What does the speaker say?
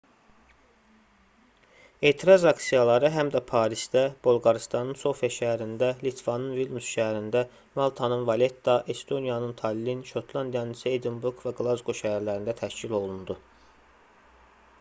etiraz aksiyaları həm də parisdə bolqarıstanın sofia şəhərində litvanın vilnüs şəhərində maltanın valetta estoniyanın tallin şotlandiyanın isə edinburq və qlazqo şəhərlərində təşkil olundu